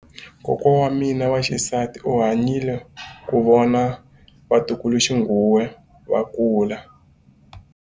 Kokwa wa mina wa xisati u hanyile ku vona vatukuluxinghuwe va kula.